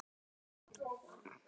Efstur á blaði, hyggjum vér.